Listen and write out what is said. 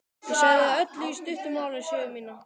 Ég sagði Öllu í stuttu máli sögu mína.